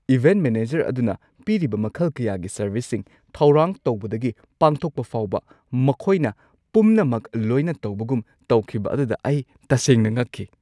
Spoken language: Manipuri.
ꯏꯚꯦꯟꯠ ꯃꯦꯅꯦꯖꯔ ꯑꯗꯨꯅ ꯄꯤꯔꯤꯕ ꯃꯈꯜ ꯀꯌꯥꯒꯤ ꯁꯔꯚꯤꯁꯁꯤꯡ-, ꯊꯧꯔꯥꯡ ꯇꯧꯕꯗꯒꯤ ꯄꯥꯡꯊꯣꯛꯄ ꯐꯥꯎꯕ, ꯃꯈꯣꯏꯅ ꯄꯨꯝꯅꯃꯛ ꯂꯣꯏꯅ ꯇꯧꯕꯒꯨꯝ ꯇꯧꯈꯤꯕ ꯑꯗꯨꯗ ꯑꯩ ꯇꯁꯦꯡꯅ ꯉꯛꯈꯤ ꯫